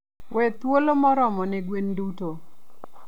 We thuolo moromo ne gwen duto.